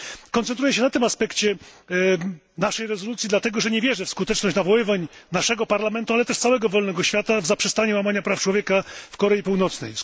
Koncentruję się na tym aspekcie naszej rezolucji, dlatego że nie wierzę w skuteczność nawoływań naszego Parlamentu, ale też całego wolnego świata do zaprzestania łamania praw człowieka w Korei Północnej.